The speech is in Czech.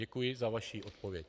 Děkuji za vaši odpověď.